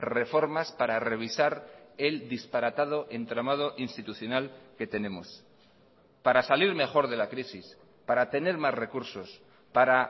reformas para revisar el disparatado entramado institucional que tenemos para salir mejor de la crisis para tener más recursos para